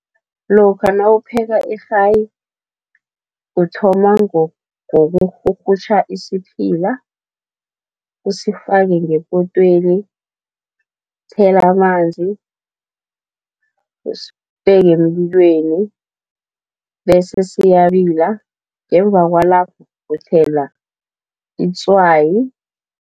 Lokha nawupheka irhayi, uthoma ngokurhurhutjha isiphila, usifake ngepotweni, uthele amanzi, usibeke emlilweni, bese siyabila ngemva kwalapho uthela itswayi.